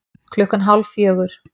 Klukkan hálf fjögur